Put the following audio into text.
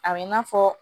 A bɛ i n'a fɔ